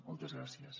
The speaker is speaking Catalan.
moltes gràcies